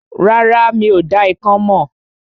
Rárá, mi ò dá ikán mọ̀